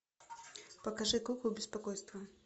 покажи куклу беспокойства